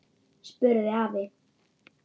spurði afi.